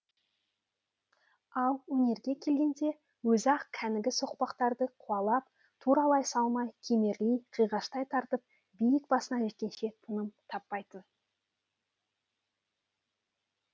ал өрге келгенде өзі ақ кәнігі соқпақтарды қуалап туралай салмай кемерлей қиғаштай тартып биік басына жеткенше тыным таппайтын